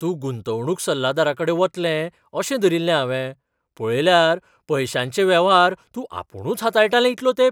तूं गुंतवणूक सल्लागाराकडेन वतलें अशें धरिल्लें हावें. पळयल्यार पयशांचे वेव्हार तूं आपुणूच हाताळटालें इतलो तेंप.